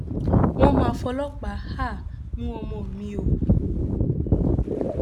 wọn mà fọlọpàá um mú ọmọ mi o